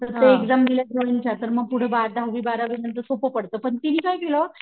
त्या एक्साम दिल्या ड्रॉइंग च्या तर पुढे बार दहावी बारावी नंतर सोप्प पडत पण तीनि काय केलं,